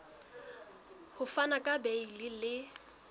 ho fana ka beile le